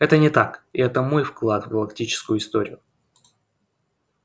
это не так и это мой вклад в галактическую историю